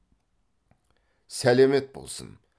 сәлемет болсын